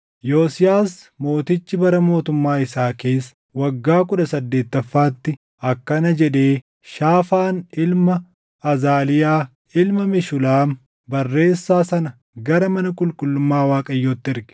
Yosiyaas mootichi bara mootummaa isaa keessa waggaa kudha saddeettaffaatti akkana jedhee Shaafaan ilma Azaliyaa ilma Meshulaam barreessaa sana gara mana qulqullummaa Waaqayyootti erge: